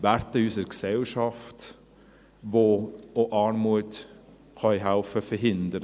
– Werte in unserer Gesellschaft, die auch helfen können, Armut zu verhindern.